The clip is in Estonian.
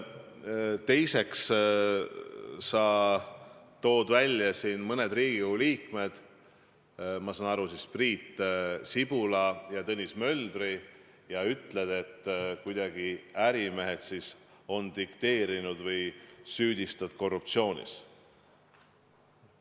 Teiseks tõid sa välja mõned Riigikogu liikmed, Priit Sibula ja Tõnis Möldri, ja ütlesid, et ärimehed on kuidagi neile dikteerinud, või süüdistasid neid korruptsioonis.